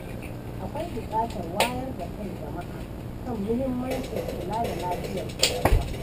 Akwai buƙatar wayar da kan jama’a kan mahimmancin kula da lafiyar ƙwaƙwalwa.